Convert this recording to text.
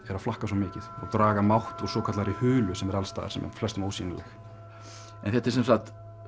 að flakka svo mikið og draga mátt úr svokallaðri hulu sem er alls staðar sem er flestum ósýnileg en þetta er sem sagt